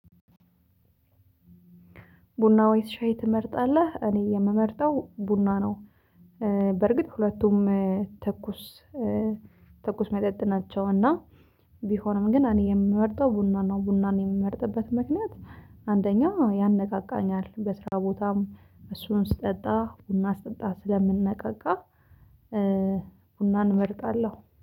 ቡና ወይስ ሻይ ትመርጣለህ? እኔ የምመርጠው ቡና ነው። በርግጥ ሁለቱም ትኩስ ትኩስ መጠጥ ናቸው። እና ቢሆንም ግን እኔ የምመርጠው ቡና ነው ቡናን የምመርጥበት ምክንያት አንደኛ ያነቃቃኛል። በስራ ቦታም እሱን ስጠጣ ቡና ስጠጣ ስለምንነቃቃ። ቡናን እመርጣለሁ